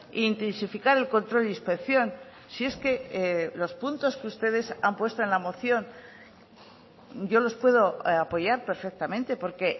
e intensificar el control de inspección si es que los puntos que ustedes han puesto en la moción yo los puedo apoyar perfectamente porque